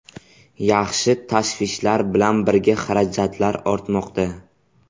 Yaxshi tashvishlar bilan birga xarajatlar ortmoqda.